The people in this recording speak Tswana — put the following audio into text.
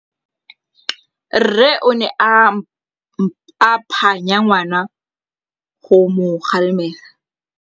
Rre o ne a phanya ngwana go mo galemela.